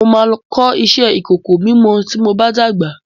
Mo máa kọ́ iṣẹ́ ìkòkò mímọ tí mob á dàgbà.